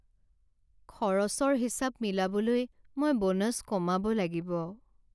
খৰচৰ হিচাপ মিলাবলৈ মই বোনাছ কমাব লাগিব।